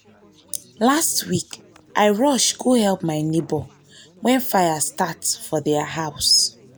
last week i rush go help my neighbor when fire start for their house.